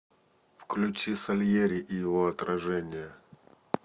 включи сальери и его отражение